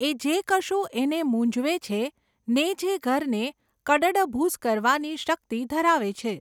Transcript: એ જે કશું એને મૂંઝવે છે, ને જે ઘરને કડડભૂસ કરવાની શક્તિ ધરાવે છે.